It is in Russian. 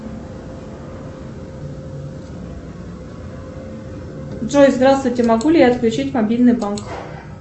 джой здравствуйте могу ли я отключить мобильный банк